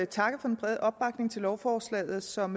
takke for den brede opbakning til lovforslaget som